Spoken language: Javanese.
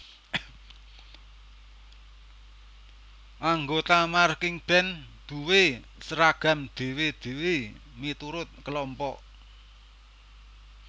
Anggota marchingband duwé seragam dhewe dhewe miturut kelompok